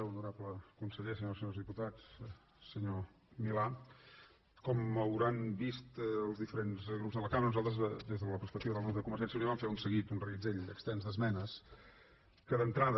honorable conseller senyores i senyors diputats senyor milà com hauran vist els diferents grups de la cambra nosaltres des de la perspectiva del grup de convergència i unió vam fer un seguit un reguitzell extens d’esmenes que d’entrada